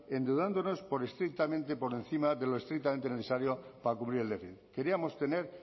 endeudándonos por encima de lo estrictamente necesario para cubrir el déficit queríamos tener